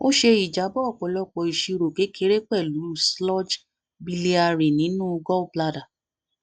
ó ṣe ìjábọ ọpọlọpọ ìṣirò kékeré pẹlú sludge biliary nínú gallbladder